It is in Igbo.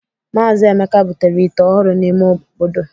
Mazị Emeka butere ite ọhụrụ n'ime obodo